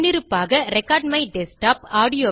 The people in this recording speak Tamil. முன்னிருப்பாக ரெக்கார்ட்மைடஸ்க்டாப்